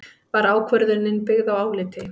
Var ákvörðunin byggð á áliti